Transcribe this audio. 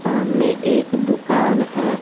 सामने एक दुकान है।